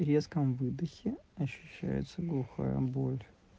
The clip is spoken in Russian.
резком выдохе ощущается глухая боль